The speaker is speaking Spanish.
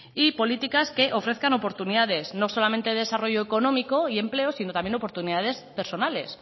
y políticas que ofrezcan oportunidades no solamente de desarrollo económico y empleo sino también oportunidades personales